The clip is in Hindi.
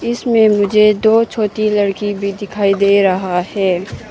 इसमें मुझे दो छोटी लड़की भी दिखाई दे रहा है।